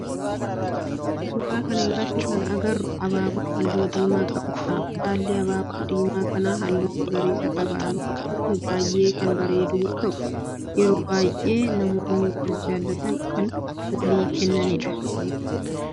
suuraa kana irratti kan agarru abaaboo halluu diimaa qabudha. Baalli abaaboo diimaa kanaa halluu magariisa qaba. abaaboon kun baayyee kan bareeduu yoo ta'u yeroo baayyee namoonni wal jaallatan kan walii kennanidha.